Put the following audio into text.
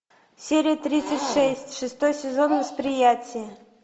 серия тридцать шесть шестой сезон восприятие